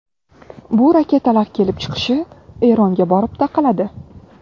Bu raketalar kelib chiqishi Eronga borib taqaladi.